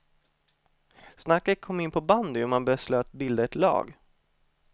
Snacket kom in på bandy och man beslöt bilda ett lag.